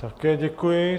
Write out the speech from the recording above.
Také děkuji.